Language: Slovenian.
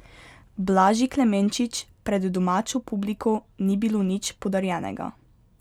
Blaži Klemenčič pred domačo publiko ni bilo nič podarjenega.